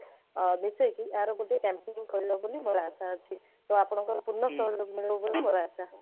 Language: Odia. ଆରେ ମିସେଇକି ଏହାର ଗୋଟେ campaigning କରିବା ବୋଲି ମୋର ଆଶା ଅଛି ତ ଆପଣଙ୍କର ପୂର୍ଣ ସହଯୋଗ ମିଳିବ ବୋଲି ମୋର ଆଶା